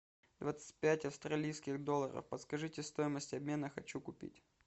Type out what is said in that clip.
двадцать пять австралийских долларов подскажите стоимость обмена хочу купить